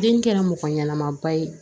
Den kɛra mɔgɔ ɲɛnama ba ye